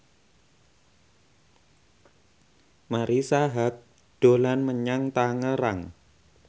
Marisa Haque dolan menyang Tangerang